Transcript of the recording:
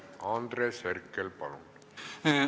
Andres Herkel, palun!